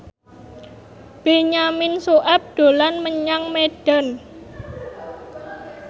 Benyamin Sueb dolan menyang Medan